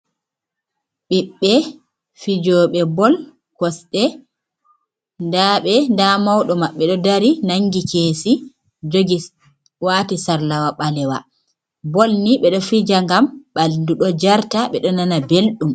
Biɓbe fijobe bol kosde dabe da maudo maɓɓe do dari nangi kesi jogi ,wati sarlawa balewa bol ni be do fija gam baldu do jarta be do nana belɗum.